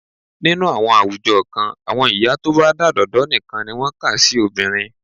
Nínú àwọn àwùjọ kan, àwọn ìyá tó bá dádọ̀dọ́ nìkan ni wọ́n kà sí obìnrin.